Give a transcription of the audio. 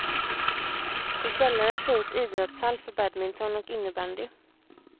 I källaren finns idrottshall för badminton och innebandy.